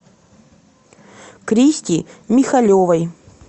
кристи михалевой